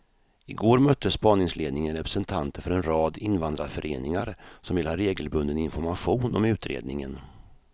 I går mötte spaningsledningen representanter för en rad invandrarföreningar som vill ha regelbunden information om utredningen.